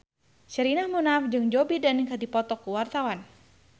Sherina Munaf jeung Joe Biden keur dipoto ku wartawan